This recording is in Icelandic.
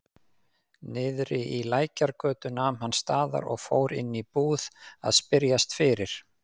Niðri í Lækjargötu nam hann staðar og fór inn í búð að spyrjast fyrir.